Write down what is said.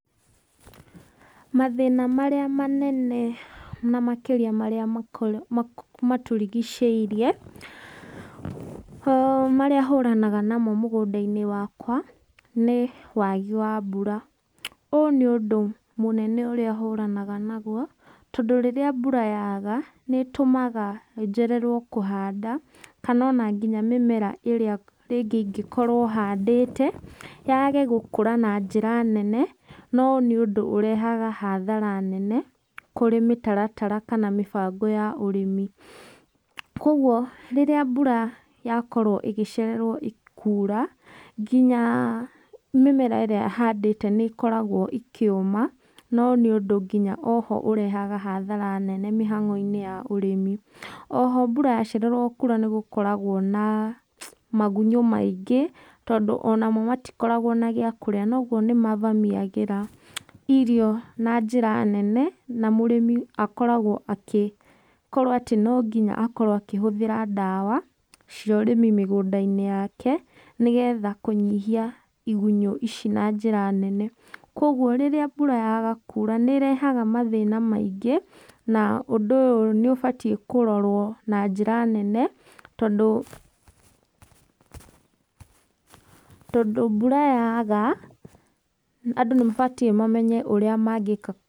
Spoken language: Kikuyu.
Mathĩna marĩa manene na makĩrĩa marĩa matũrigicĩirie, marĩa hũranaga namo mũgũnda-inĩ wakwa nĩ waagi wa mbura. Ũũ nĩ ũndũ mũnene ũrĩa hũranaga naguo, tondũ rĩrĩa mbura yaaga nĩ ĩtũmaga njererwo kũhanda, kana ona nginya mĩmera ĩrĩa rĩngĩ ingĩkorwo handĩte yage gũkũra na njĩra nene. Na ũyũ nĩ ũndũ ũrehaga hathara nene kurĩ mĩtaratara kana mĩbango ya ũrĩmi. Kogwo rĩrĩa mbura yakorwo ĩgĩcererwo kuura, nginya mĩmera ĩrĩa handĩte nĩ ĩkoragwo ĩkĩuma. Na ũyũ nĩ ũndũ nginya oho ũrehaga hathara nene mĩhang'o-inĩ ya ũrĩmi. Oho, mbura yacererwo kuura nĩ gũkoragwo na magunyũ maingĩ, tondũ onamo matikoragwo na gĩa kũrĩa. Na ũguo nĩ mavamiagĩra irio na njĩra nene, na mũrĩmi akoragwo agĩkorwo atĩ no nginya akorwo angĩhũthĩra ndawa cia ũrĩmi mĩgũnda-inĩ yake nĩ getha kũnyihia igunyũ ici na njĩra nene. Kogwo rĩrĩa mbura yaga kuura nĩ ĩrehaga mathĩna maingĩ, na ũndũ ũyũ nĩ ũbatiĩ kũrorwo na njĩra nene tondũ, tondũ mbura yaaga andũ nĩ mabatiĩ mamenye ũrĩa mangĩka..